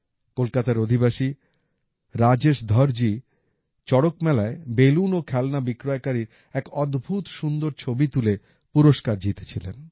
কলকাতার অধিবাসী রাজেশ ধরজি চড়ক মেলাএ বেলুন ও খেলনা বিক্রয়কারীর এক অদ্ভুত সুন্দর ছবি তুলে পুরস্কার জিতে ছিলেন